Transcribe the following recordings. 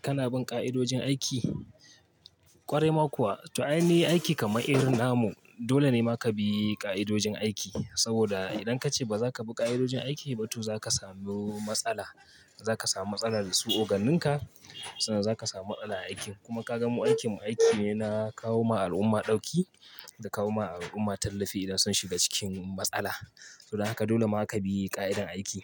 Kana bin ƙa'idojin aiki? Kwarai ma kuwa, to ai ne aiki kamar irin namu. Dole ne ma ka bi ƙa'idojin aiki. Saboda idan kace baza ka bi ƙa'idojin aiki ba to zaka samu matsala. Zaka samu matsala da su oganinka, sannan zaka samu matsala a aikin. Kuma ka gan mu aikin mu aiki ne na kawo ma al'umma dauki, da kawo ma al'umma tallafi idan sun shiga cikin matsala. To don haka dole ma ka bi ƙa'idar aiki.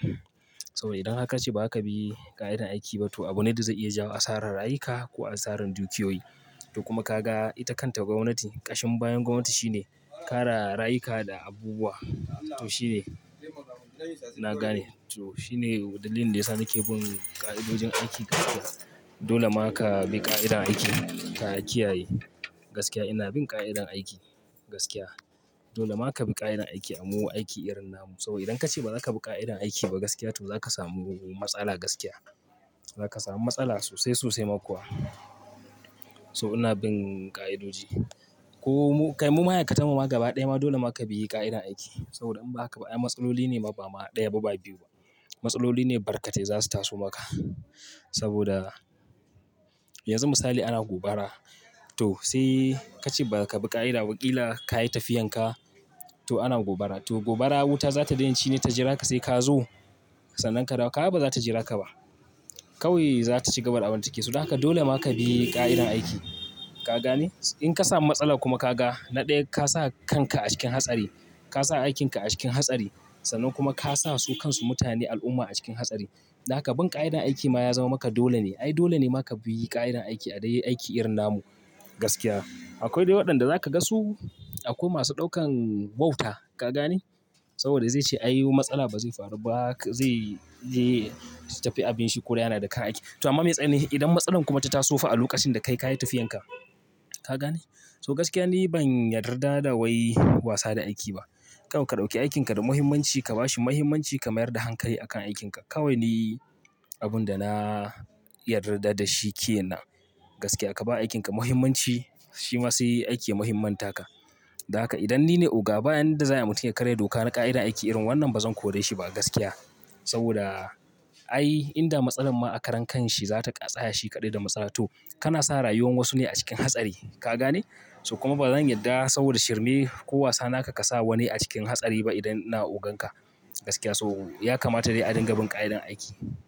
Saboda idan haka kace ba ka bi ƙa'idar aiki ba to abune da zai iya jawo asarar rayuka ko asarar dukiyoyi. To kuma ka ga ita kanta gwamnati, ƙashin bayan gwamnati shine kare rayuka da abubuwa. To shi ne, na gane. To shi ne dalilin da yasa nake bin ƙa'idojin aiki gaskiya. Dole ma ka bi ƙa'idar aiki, ka kiyaye. Gaskiya ina bin ƙa'idar aiki, gaskiya. Dole ma ka bi ƙa'idar aiki a mu aiki irin namun. Saboda idan kace baza ka bi ƙa'idar aiki ba gaskiya to zaka samu matsala gaskiya. Zaka samu matsala sosai sosai ma kuwa. So ina bin ƙa'idoji. Ko mu, kai mu ma'aikatan mu ma gaba ɗaya ma dole ma ka bi ƙa'idar aiki. Saboda in ba haka ba, ai matsalloli ne ba ma ɗaya ba ba biyu ba. Matsaloli ne barkatai za su taso maka. Saboda yanzu misali ana gobara, to sai kace baza ka bi ƙa'ida ba ƙila ka yi tafiyan ka, to ana gobara. To gobara wuta za ta daina shine ta jira ka sai ka zo? Sannan ka dawo, kaga baza ta jira ka ba. Kawai za ta ciga da abin da take so. To dan haka dole ma ka bi ƙa'idar aiki. Ka gane? In ka samu matsala kuma ka ga na ɗaya ka sa kanka a cikin hatsari, ka sa aikin ka a cikin hatsari, sannan kuma ka sa su kan su mutane al'umma a cikin hatsari. Don haka bin ƙa'idar aiki ma ya zama maka dole ne. Ai dole ne ma ka bi ƙa'idar aiki a dai aiki irin namun, gaskiya. Akwai dai waɗanda zaka ga su akwai masu ɗaukan wauta, ka gane? Saboda zai ce ai oo matsala ba zai faru ba haka, zai, zai tafi abin shi ko raye yana da ka aiki. To amma me tsai ne idan matsalar kuma ta taso fa a lokacin da kai ka yi tafiyan ka? Ka gane? So gaskiya ni ban yarda da wai wasa da aiki ba. Kawai dauki aikin ka da muhimmanci, ka ba shi muhimmanci, ka mayar da hankali a kan aikin ka. Kawai ni abun da na yarda da shi ke nan. Gaskiya ka ba aikin ka muhimmanci, shi ma sai aiki ya muhimman ta ka. Don haka idan ni ne oga, ba wanda za ai mutum ya karya doka na ƙa'idar aiki irin wannan ba zan kore shi ba gaskiya. Saboda ai in da matsalar ma a karan kan shi za ta ƙasaya shi kaɗai da matsala, to kana sa rayuwar wasu ne a cikin hatsari, ka gane? To kuma ba zan yarda saboda shirme ko wasa naka ka sa wani a cikin hatsari ba idan ina ogan ka. Gaskiya saboda so ya kamata dai a dinga bin ƙa'idar aiki.